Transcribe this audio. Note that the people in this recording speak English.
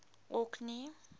orkney